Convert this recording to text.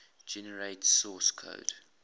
generate source code